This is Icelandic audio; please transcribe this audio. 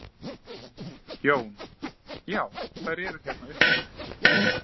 Jón: Já þær eru hérna uppi?